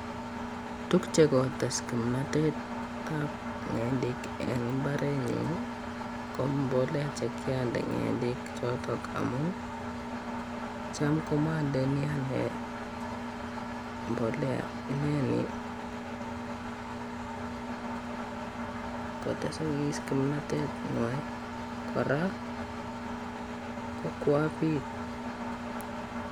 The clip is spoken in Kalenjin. Tuguk chekotes kimnotetab ng'endek en imbarenyuun ko mbolea chekiondee ng'endek choton. Amun cham komondoi anee mbolea ,inoni kotekokis kimnotenywan kora ko ko abiit.